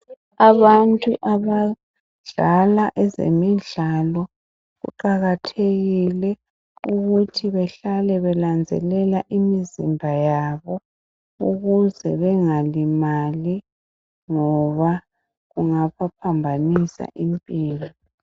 Abantu abadala ezemidlalo kuqakathekile ukuthi behlale benanzelela imizimba yabo ukuze bengalimali ngoba kungabaphambanisa impilo